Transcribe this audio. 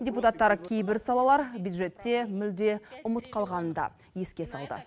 депутаттар кейбір салалар бюджетте мүлде ұмыт қалғанын да еске салды